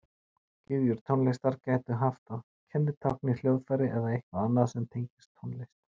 gyðjur tónlistar gætu haft að kennitákni hljóðfæri eða eitthvað annað sem tengist tónlist